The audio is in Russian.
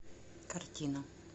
картина